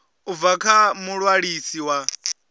u bva kha muṅwalisi wa